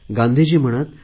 गांधीजी म्हणत